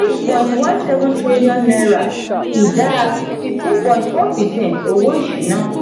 eight point one seven trillion naira ìdá fifteen point four percent owó ìṣúná.